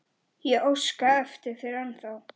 Ég óska eftir þér ennþá.